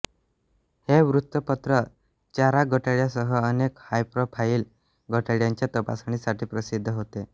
हे वृत्तपत्र चारा घोटाळ्यासह अनेक हायप्रोफाईल घोटाळ्यांच्या तपासणीसाठी प्रसिद्ध होते